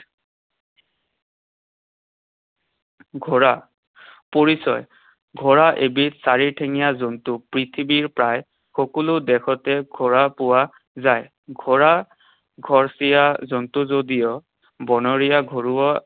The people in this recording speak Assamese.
ঘোঁৰা। পৰিচয়। ঘোঁৰা এবিধ চাৰিঠেঙীয়া জন্তু। পৃথিৱীৰ প্ৰায় সকলো দেশতে ঘোঁৰা পোৱা যায়। ঘোঁৰা ঘৰচীয়া জন্তু যদিও বনৰীয়া ঘোঁৰাও